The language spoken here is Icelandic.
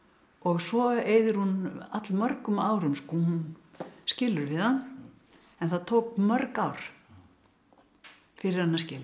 svo eyðir hún all mörgum árum hún skilur við hann en það tók mörg ár fyrir hana að skilja